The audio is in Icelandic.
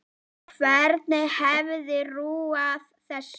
Hver hefði trúað þessu?